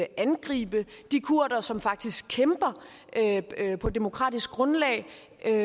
angribe de kurdere som faktisk kæmper på demokratisk grundlag